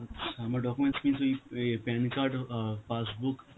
আচ্ছা, আমার documents কি ওই অ্যাঁ pan card হো~, অ্যাঁ passbook